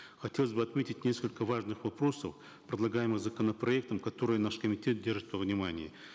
хотелось бы отметить несколько важных вопросов предлагаемых законопроектом которые наш комитет держит во внимании